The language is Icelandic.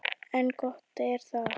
En gott er það.